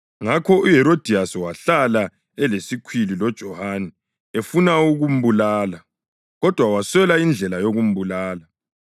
Ngakho uHerodiyasi wahlala elesikhwili loJohane efuna ukumbulala. Kodwa waswela indlela yokumbulala,